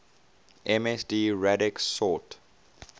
msd radix sort